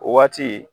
O waati